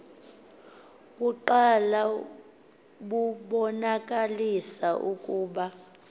kuqala bubonakalisa ukuba